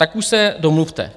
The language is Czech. Tak už se domluvte!